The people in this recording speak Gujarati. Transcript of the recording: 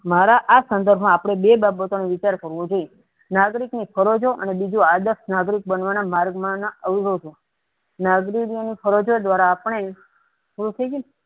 મારા આ સંદર્ભ આપણે બે બજય બધાનો વિચાર કરવો જૉયઇ નાગરિકની ફરજો ને બીજું આદર્શ નાગરિક બનવાના અવરોધો નાગરિકીની ફગારજો દ્વારા